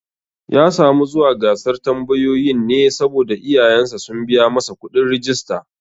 Ya samu zuwa gasar tambayoyin ne saboda iyayen sa sun biya masa kuɗin rijista